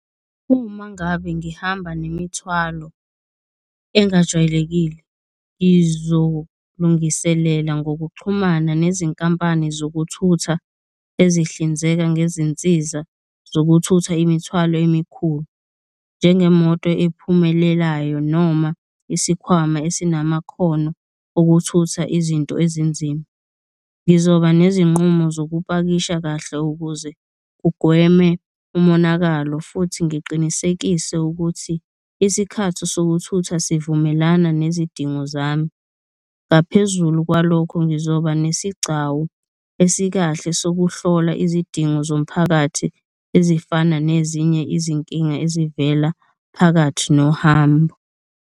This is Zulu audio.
Uma ngabe ngihamba nemithwalo engajwayelekile, ngizolungisela ngokuxhumana nezinkampani zokuthutha ezihlinzeka ngezinsiza zokuthutha imithwalo emikhulu, njengemoto ephumelelayo noma isikhwama esinamakhono okuthutha izinto ezinzima. Ngizoba nezinqumo zokupakisha kahle ukuze kugweme umonakalo futhi ngiqinisekise ukuthi isikhathi sokuthutha sivumelana nezidingo zami. Ngaphezulu kwalokho, ngizoba nesigcawu esikahle sokuhlola izidingo zomphakathi ezifana nezinye izinkinga ezivela phakathi nohambo.